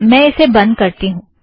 मैं इसे बंध करती हूँ